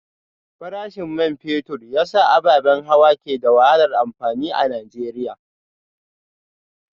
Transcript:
Farashin man fetur ya sa ababen hawa ke da wahalar amfani a Najeriya